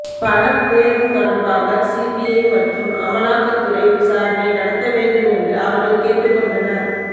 பண பேரம் தொடர்பாக சிபிஐ மற்றும் அமலாக்கத்துறை விசாரணை நடத்த வேண்டும் என்று அவர்கள் கேட்டுக் கொண்டனர்